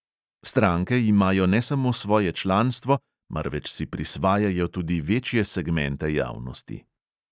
Stranke imajo ne samo svoje članstvo, marveč si prisvajajo tudi večje segmente javnosti.